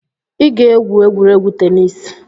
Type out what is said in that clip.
Ị ga-egwu egwuregwu tenis